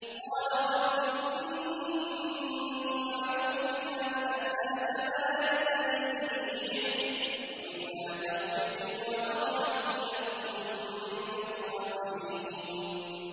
قَالَ رَبِّ إِنِّي أَعُوذُ بِكَ أَنْ أَسْأَلَكَ مَا لَيْسَ لِي بِهِ عِلْمٌ ۖ وَإِلَّا تَغْفِرْ لِي وَتَرْحَمْنِي أَكُن مِّنَ الْخَاسِرِينَ